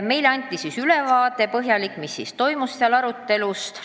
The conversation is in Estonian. Meile anti põhjalik ülevaade ELAK-i arutelust.